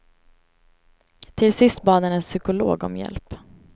Till sist bad han en psykolog om hjälp.